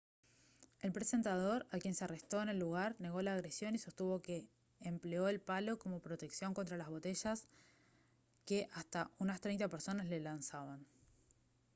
el presentador a quien se arrestó en el lugar negó la agresión y sostuvo que empleó el palo como protección contra las botellas que hasta unas treinta personas le lanzaban